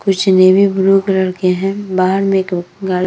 कुछ navy blue colour के हैं बाहर में एक गा --